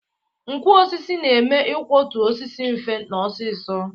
Nkwọ osisi na-eme ikwọtụ osisi mfe na ọsịsọ